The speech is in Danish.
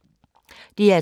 DR2